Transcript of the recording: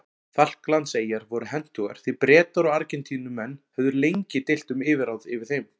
Falklandseyjar voru hentugar því Bretar og Argentínumenn höfðu lengi deilt um yfirráð yfir þeim.